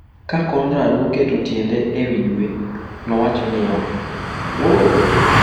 Ka Conrad noketo tiende e wi dwe, nowacho niya: “Wuo!”